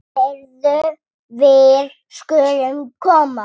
Heyrðu, við skulum koma.